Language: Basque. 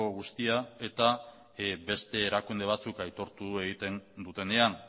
guztia eta beste erakunde batzuk aitortu egiten dutenean